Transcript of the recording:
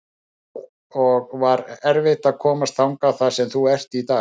og var erfitt að komast þangað þar sem þú ert í dag?